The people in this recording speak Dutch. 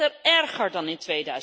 Het is er erger dan in